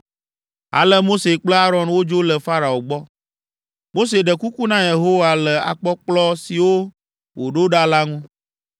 Ale Mose kple Aron wodzo le Farao gbɔ. Mose ɖe kuku na Yehowa le akpɔkplɔ siwo wòɖo ɖa la ŋu.